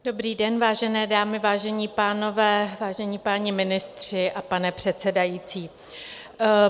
Dobrý den, vážené dámy, vážení pánové, vážení páni ministři a pane předsedající.